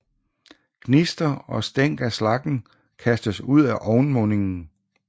Gnister og stænk af slaggen kastes ud af ovnmundingen